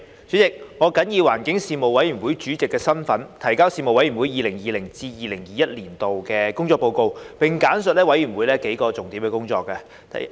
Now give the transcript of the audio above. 主席，我謹以環境事務委員會主席的身份，提交事務委員會 2020-2021 年度的工作報告，並簡述事務委員會幾項重點工作。